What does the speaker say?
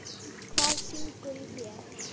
Hvað syngur í þér?